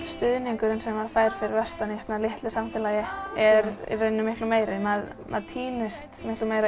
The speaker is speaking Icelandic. stuðningurinn sem maður fær fyrir vestan í svona litlu samfélagi er miklu meiri maður týnist